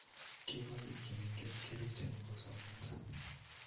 Kibwa biik chemengech Kericho nyikosomanso